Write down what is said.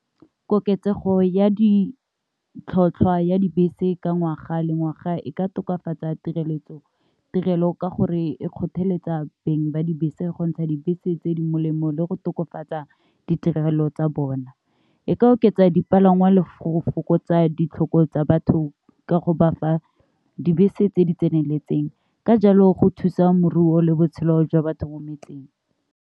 koketsego ya ditlhotlhwa ya dibese ka ngwaga le ngwaga e ka tokafatsa tirelo ka gore e kgotheletsa beng ba dibese go ntsha dibese tse di molemo le go tokafatsa ditirelo tsa bona, e ka oketsa dipalangwa le go fokotsa ditlhoko tsa batho ka go bafa dibese tse di tseneletseng ka jalo go thusa moruo le botshelo jwa batho mo metseng.